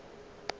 bona e be e le